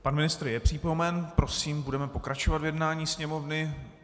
Pan ministr je přítomen, prosím, budeme pokračovat v jednání Sněmovny.